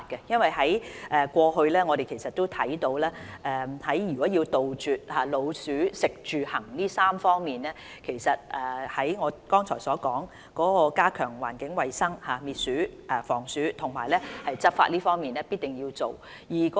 因為過去我們看到，如果要杜絕老鼠的"食住行"這3方面，正如我剛才所說，在加強環境衞生滅鼠、防鼠和執法方面，必定要做。